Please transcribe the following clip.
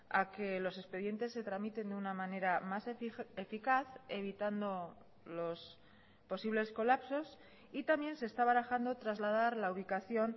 a que los expedientes se tramiten de una manera más eficaz evitando los posibles colapsos y también se está barajando trasladar la ubicación